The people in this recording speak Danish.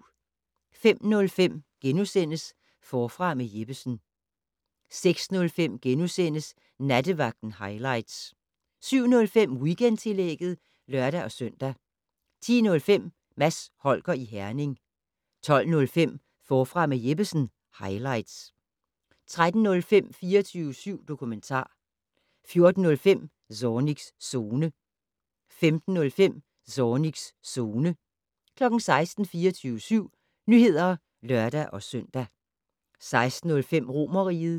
05:05: Forfra med Jeppesen * 06:05: Nattevagten highlights * 07:05: Weekendtillægget (lør-søn) 10:05: Mads Holger i Herning 12:05: Forfra med Jeppesen - highlights 13:05: 24syv dokumentar 14:05: Zornigs Zone 15:05: Zornigs Zone 16:00: 24syv Nyheder (lør-søn) 16:05: Romerriget